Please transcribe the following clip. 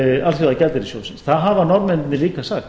alþjóðagjaldeyrissjóðsins það hafa norðmennirnir líka sagt